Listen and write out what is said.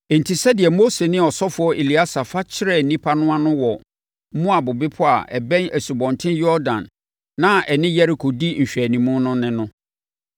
Enti, sɛdeɛ Mose ne ɔsɔfoɔ Eleasa fa kyerɛɛ nnipa no ano wɔ Moab bepɔ a ɛbɛn Asubɔnten Yordan na ɛne Yeriko di nhwɛanimu no ne no.